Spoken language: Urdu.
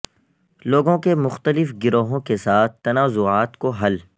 لوگوں کے مختلف گروہوں کے ساتھ تنازعات کو حل